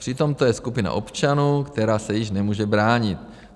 Přitom je to skupina občanů, která se již nemůže bránit.